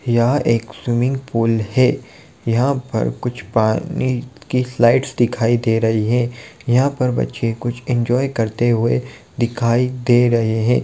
यह एक swimming pool है| यहां पर कुछ पानी की स्लाइड्स दिखाई दे रही हैं यहां पर बच्चे कुछ इंजॉय करते हुए दिखाई दे रहे हैं।